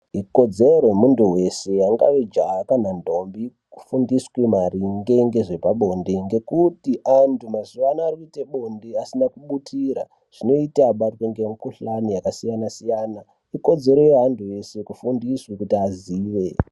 Ikodzero yemuthu weshe angaa jaha kana ndombi kufundiswe maringe ngezvepabonde ,ngekuti anhu mazuwa ano arikuite bonde asine kubutira zvinoita abatwe ngemikhuhlani yakasiyanasiyana, ikodzero yeantu eshe kuti kufundiswe kuti aziye.